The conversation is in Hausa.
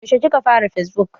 Yaushe ka fara yin fesbuk?